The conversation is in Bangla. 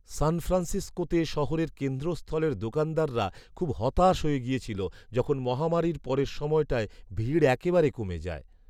সান ফ্রান্সিসকোতে শহরের কেন্দ্রস্থলের দোকানদাররা খুব হতাশ হয়ে গেছিলো যখন মহামারীর পরের সময়টায় ভিড় একেবারে কমে যায়।